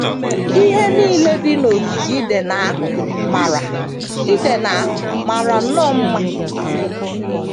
Ihe nile dị n’ogige Iden ahụ mara Iden ahụ mara nnọọ mma.